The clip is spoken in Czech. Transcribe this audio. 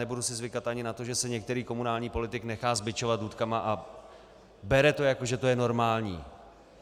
Nebudu si zvykat ani na to, že se některý komunální politik nechá zbičovat důtkami a bere to, jako že to je normální.